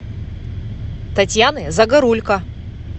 татьяны загорулько